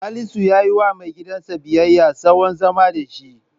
Salisu ya yiwa maigidansa biyayya, tsawon zamansa da shi.